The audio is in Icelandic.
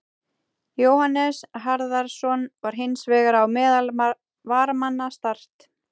Jóhannes Harðarson var hins vegar á meðal varamanna Start.